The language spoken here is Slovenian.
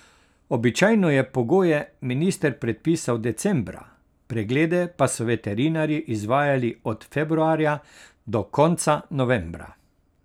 Običajno je pogoje minister predpisal decembra, preglede pa so veterinarji izvajali od februarja do konca novembra.